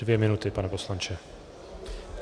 Dvě minuty, pane poslanče.